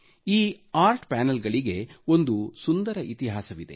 ಈ ಆರ್ಟ್ ಪ್ಯಾನಲ್ಗಳಿಗೆ ಒಂದು ಸುಂದರ ಇತಿಹಾಸವಿದೆ